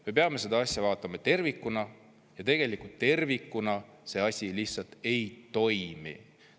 Me peame seda asja vaatama tervikuna ja tegelikult tervikuna see asi lihtsalt ei toimi.